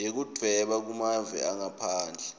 yekudvweba kumave angaphandle